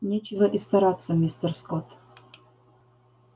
нечего и стараться мистер скотт